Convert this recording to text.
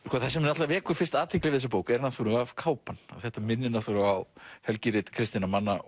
það sem vekur fyrst athygli við þessa bók er náttúrulega kápan og þetta minnir náttúrulega á helgirit kristinna manna